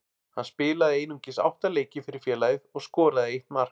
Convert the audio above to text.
Hann spilaði einungis átta leiki fyrir félagið og skoraði eitt mark.